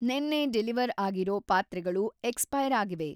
ನೆನ್ನೆ ಡೆಲಿವರ್‌ ಆಗಿರೋ ಪಾತ್ರೆಗಳು ಎಕ್ಸ್‌ಪೈರ್‌ ಆಗಿವೆ.